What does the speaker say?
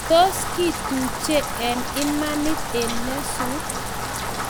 Tos kituche eng imanit eng nyasut?